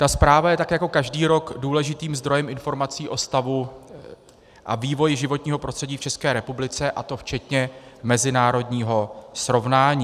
Ta zpráva je tak jako každý rok důležitým zdrojem informací o stavu a vývoji životního prostředí v České republice, a to včetně mezinárodního srovnání.